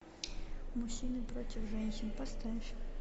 мужчины против женщин поставь